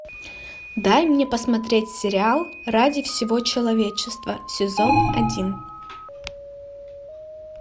дай мне посмотреть сериал ради всего человечества сезон один